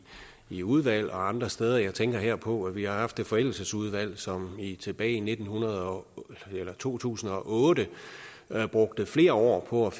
i udvalg og andre steder jeg tænker her på at vi har haft et forældelsesudvalg som tilbage i to tusind og otte brugte flere år på at